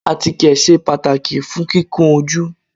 Àtíkè sé pàtàkì fún kíkun ojú.